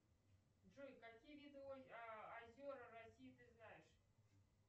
джой какие виды озера россии ты знаешь